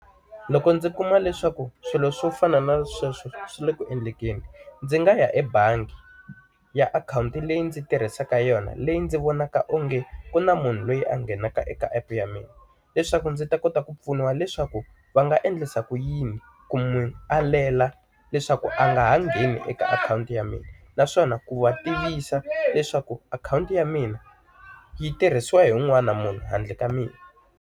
Loko ndzi kuma leswaku swilo swo fana na sweswo swi le ku endleni, ndzi nga ya ebangi ya akhawunti leyi ndzi tirhisaka yona leyi ndzi vonaka onge ku na munhu loyi a nghenaka eka app ya mina. Leswaku ndzi ta kota ku pfuniwa leswaku va nga endlisa ku yini ku n'wi alela leswaku a nga ha ngheni eka akhawunti ya mina, naswona ku va tiyisisa leswaku akhawunti ya mina yi tirhisiwa hi un'wana na munhu handle ka mina.